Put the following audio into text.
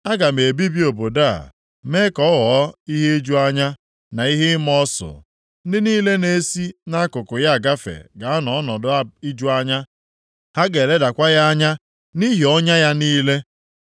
Aga m ebibi obodo a mee ka ọ ghọọ ihe iju anya na ihe ịma ọsụ. Ndị niile na-esi nʼakụkụ ya agafe ga-anọ nʼọnọdụ iju anya, ha ga-eledakwa ya anya nʼihi ọnya ya niile.